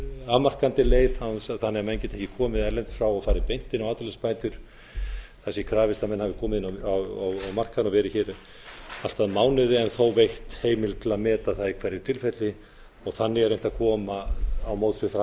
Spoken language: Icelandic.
afmarkandi leið þannig að menn geti ekki komið að utan og farið beint inn á atvinnuleysisbætur þess sé krafist að menn hafi komið inn á markaðinn og verið hér í all að mánuð en þó veitt heimild til að meta það í hverju tilfelli þannig er reynt að koma til móts